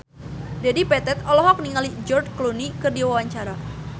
Dedi Petet olohok ningali George Clooney keur diwawancara